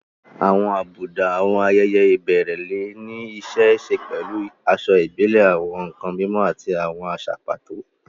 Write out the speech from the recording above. Àwọn àbùdá àwọn ayẹyẹ ìbẹ̀rẹ̀ lè ní í ṣe pẹ̀lú aṣọ ìbílẹ̀, àwọn nkan mímọ́, àti àwọn àṣà pàtó.